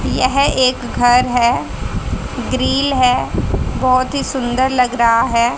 यह एक घर है ग्रिल है बहुत ही सुंदर लग रहा है।